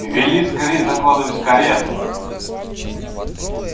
вели скорей закладывать карету